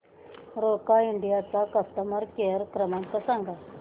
Roca India चा customer care क्रमांक सांगा